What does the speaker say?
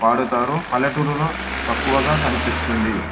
పాడుతారు పల్లెటూరులో తక్కువగా కనిపిస్తుంది.